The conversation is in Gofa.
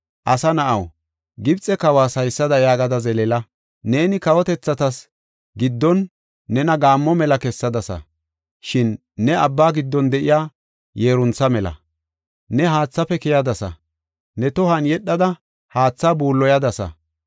“Asa na7aw, Gibxe kawas haysada yaagada zeleela. Neeni kawotethatas giddon nena gaammo mela kessadasa; shin ne abba giddon de7iya yeeruntha mela. Ne haathaafe keyadasa; ne tohuwan yedhada, haatha buulloyadasa.